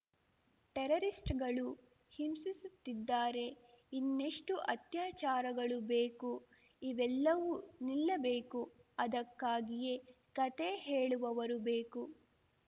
ಟೆರರಿಸ್ಟುಗಳೂ ಹಿಂಸಿಸುತ್ತಿದ್ದಾರೆ ಇನ್ನೆಷ್ಟುಅತ್ಯಾಚಾರಗಳು ಬೇಕು ಇವೆಲ್ಲವೂ ನಿಲ್ಲಬೇಕು ಅದಕ್ಕಾಗಿಯೇ ಕತೆ ಹೇಳುವವರು ಬೇಕು